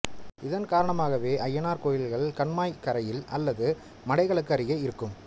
இதன் காரணமாகவே அய்யனார் கோயில்கள் கண்மாய்க் கரையில் அல்லது மடைகளுங்கு அருகே இருக்கும்